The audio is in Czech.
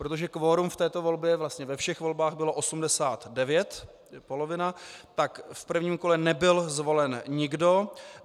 Protože kvorum v této volbě, vlastně ve všech volbách bylo 89, to je polovina, tak v prvním kole nebyl zvolen nikdo.